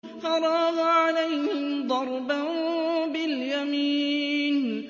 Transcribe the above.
فَرَاغَ عَلَيْهِمْ ضَرْبًا بِالْيَمِينِ